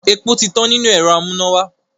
Epo ti tán nínú ẹ̀rọ amúnáwá.